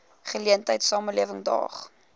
geleentheid samelewing daag